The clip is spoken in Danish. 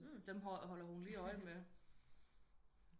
Dem holder hun lige øje med